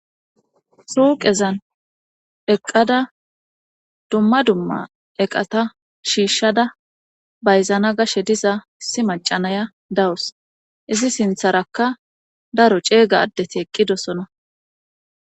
Suuqezan eqqada dumma dumma eqata shiishshada bayzana gashe diza isi macanaya dawus izi sintharakka daro ceega addeti eqqidosona.